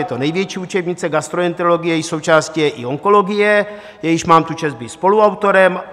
Je to největší učebnice gastroenterologie, její součástí je i onkologie, jejímž mám tu čest být spoluautorem.